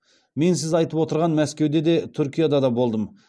мен сіз айтып отырған мәскеуде де түркияда да болдым